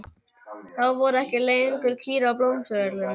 Þá voru ekki lengur kýr á Blómsturvöllum.